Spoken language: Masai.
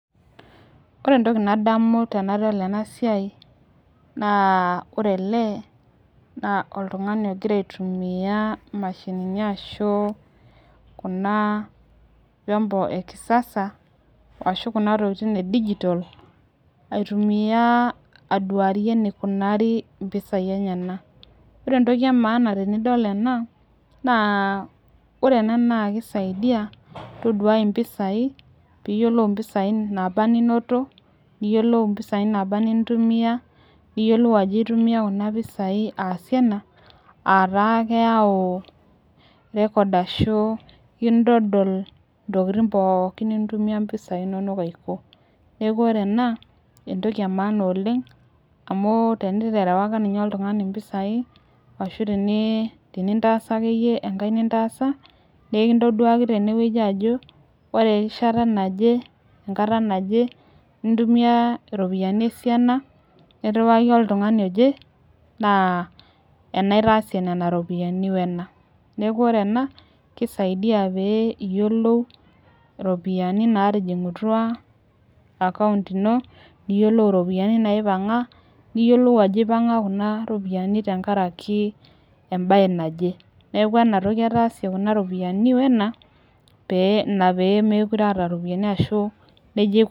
Ore entoki nadamu tenadol ena siai naa ore ele naa oltungani ogira aitumia imashini ashuu kuna mashini ekisasa ashu kuna tokitin digital. Aduarie enekunari mpisai enyenek. Naa ore ena naa keisaidia toduai impisai toduai impisai naaba ninoto niyiolou mpisai naaba nintumia, niyiolou ajo intumia kuna pisai aasie ena. Aat taa keyau rekod ashu kintodol intokitin pooki nitumia mpisai inonok aiko. Kiaku ore ena, entoki enaana oleng amuu teniterewaka ninye oltungani impisai, tenintaasa akeyie enkai nintaasa naa enkintoduaki tene wueji ajo ore erishata naje nintumia iropiyiani esiana naje niriwaki oltungani oje naa ena aitaasa nena ropiyiani wena. Neaku ore ena eisaidi peyie niyiolou iropiyiani naatijingutua akaunt ino, niyiolou iropiyiani naioanga. Niyiolou ajo epanga kuna ropiyiani tenkaraki embae naje ore kuna ropiyiani wena naa ina peyie meekure aata iropiyiani.